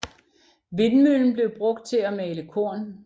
Vindmøllen blev brugt til at male korn